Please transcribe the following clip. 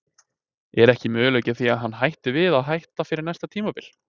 Er ekki möguleiki á því að hann hætti við að hætta fyrir næsta tímabil?